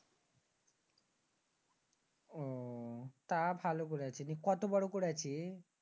তা ভালো করেছিস। তো কত বড় করেছিস?